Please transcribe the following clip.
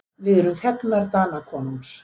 Við erum þegnar Danakonungs.